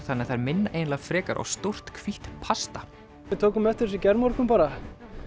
þannig að þær minna eiginlega frekar á stórt hvítt pasta við tókum eftir þessu í gærmorgun bara